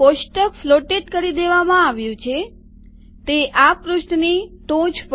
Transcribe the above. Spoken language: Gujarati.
કોષ્ટક ફ્લોટેડ કરી દેવામાં આવ્યુ છે તે આ પૃષ્ઠની ટોચ પર છે